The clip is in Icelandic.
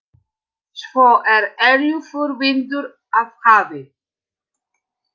Svo er eilífur vindur af hafi.